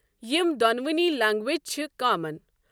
یِمَ دۄنؤنی لٛنگویجِ چھِ کامَن ۔